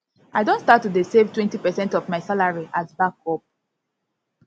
i don start to dey save twenty percent of my salary as backup